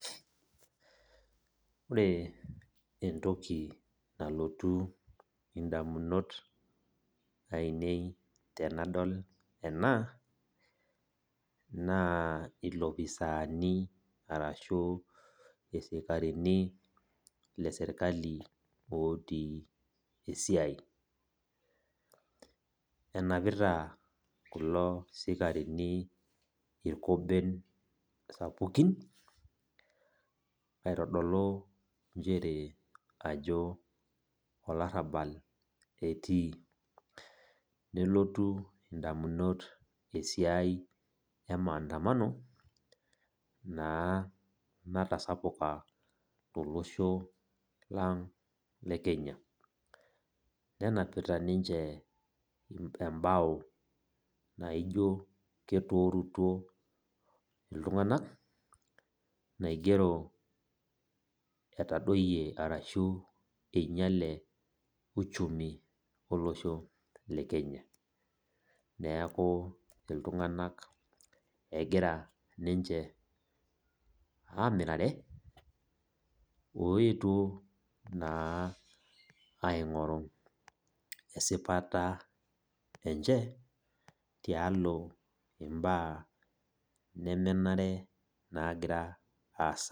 Ore entoki nalotu edamunot ainei tenadol ena naa elopisani arashu esikarini lee sirkali otii esiai enapiata kulo sikarini irko ensapukin aitodolu njere olarabal etii nelatu ndamunot esiai ee mandamano natasapuka tolosho lang le Kenya nenapita niche ebao naijio keturutuo iltung'ana naigero eitadoyio arashu enyiale uchumi olosho le Kenya neeku iltung'ana egira niche amirare oyetuo aing'oru esipata enye tialo mbaa nemenare nagira asaa